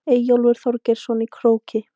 Eyjólf Þorgeirsson í Króki.